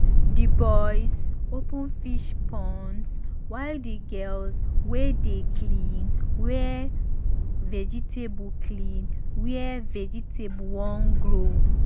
the boys open fish ponds while the girls dey clean where vegetable clean where vegetable won grow.